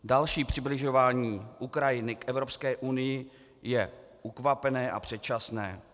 Další přibližování Ukrajiny k Evropské unii je ukvapené a předčasné.